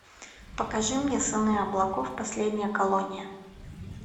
покажи мне сыны облаков последняя колония